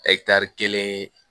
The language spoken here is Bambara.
kelen